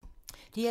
DR2